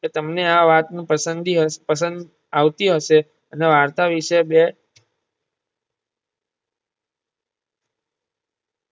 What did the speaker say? કે તમને આ વાતનું પસંદી પસંદ આવતી હશે અને વાર્તા વિષે બે